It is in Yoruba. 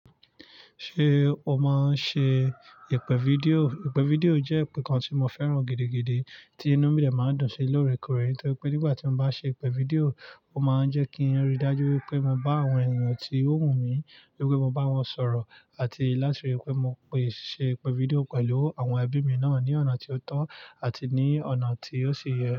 Ṣé o máa ń ṣe ìpè fídíò? Ìpè fídíò jẹ́ ǹkan tí mo fẹ́ràn gidigidi tí inú mi dè máa ń dùn sí loorekoore, torí pé nígbà tí mo bá ṣe ìpè fídíò, ó máa ń jẹ́ kí n rí dájú wípé mo bá àwọn eniyan tí ó wù mí wípé mo bá wọn sọ̀rọ̀ àti láti rí wípé mo lè ṣe ìpè fídíò pẹ̀lú àwọn ẹbí mi náà ní ọ̀nà tí ó tọ́ àti ní ọ̀nà tí ó ṣe yẹ.